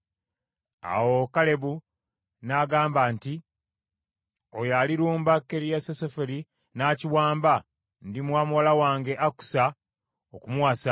Awo Kalebu n’agamba nti, “Oyo alirumba Kiriasuseferi n’akiwamba ndimuwa muwala wange Akusa okumuwasa.”